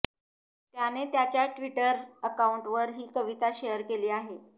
त्याने त्याच्या ट्विटर अकाउंटवर ही कविता शेअर केली आहे